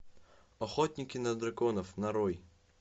охотники на драконов нарой